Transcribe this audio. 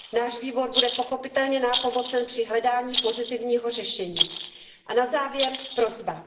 Nás výbor bude pochopitelně nápomocen při hledání pozitivního řešení. A na závěr prosba.